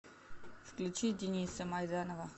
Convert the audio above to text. включи дениса майданова